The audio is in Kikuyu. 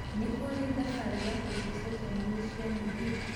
Nĩ kũrĩ thabari ya gũthiĩ ceceni-inĩ cia mĩgithi